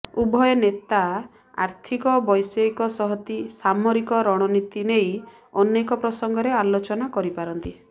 ଉଭୟ ନେତା ଆର୍ଥିକ ବୈଷୟିକ ସହତି ସାମରିକ ରଣନୀତି ନେଇ ଅନେକ ପ୍ରସଙ୍ଗରେ ଆଲୋଚନା କରିପାରନ୍ତି